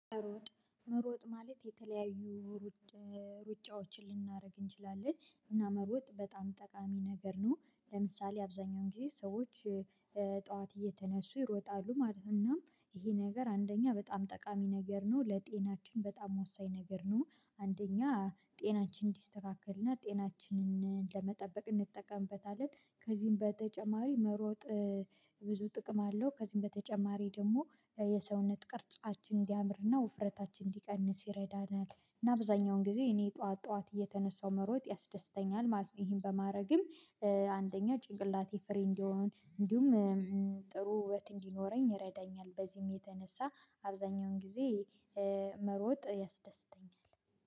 መሮጥ መሮጥ ማለት የተለያዩ ሩጫዎችን ልናደርግ እንችላለን እና መሮጥ በጣም ጠቃሚ ነገር ነው። ለምሳሌ አብዛኛውን ጊዜ ሰዎች ጠዋት እየተነሱ ይሮጣሉ ማለት ነው። እናም ይሄ ነገር አንደኛ በጣም ጠቃሚ ነገር ነው። ለጤናችን በጣም ወሳኝ ነገር ነው። አንደኛ ጤናችን እንዲስተካከልና ጤናችንን ለመጠበቅ እንጠቀምበታለን። ከዚህም በተጨማሪ መሮጥ ብዙ ጥቅም አለው ከዚህም በተጨማሪ ደግሞ የሰውነት ቅርጻችን እንዲያምርና ውፍረታችን እንዲቀንስ ይረዳናል። እና አብዛኛውን ጊዜ እኔ ጠዋት ጠዋት እየተነሳው መሮጥ ያስደስተኛል ማለት ነው። ይሄን በማድረግም አንደኛ ጭንቅላቴ ፍሬ እንደሆን እንዲሁም ጥሩ ውበት እንዲኖረኝ ይረዳኛል። በዚህም የተነሳ አብዛኛውን ጊዜ መሮጥ ያስደስተኛል።